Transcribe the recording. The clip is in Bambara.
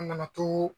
An nana to